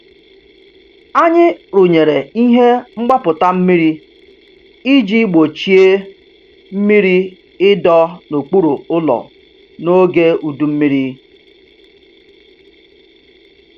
Anyị rụnyere ihe mgbapụta mmiri iji gbochie mmiri ịdọ n'okpuru ụlọ n'oge udu mmiri.